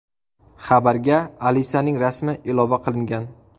Xabarga Alisaning rasmi ilova qilingan.